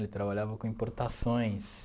Ele trabalhava com importações.